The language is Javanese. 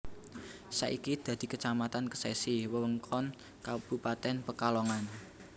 Saiki dadi Kecamatan Kesesi wewengkon Kabupatèn Pekalongan